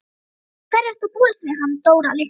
Við hverju er að búast með hann Dóra litla?